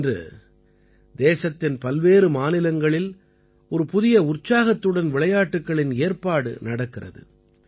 இன்று தேசத்தின் பல்வேறு மாநிலங்களில் ஒரு புதிய உற்சாகத்துடன் விளையாட்டுக்களின் ஏற்பாடு நடக்கிறது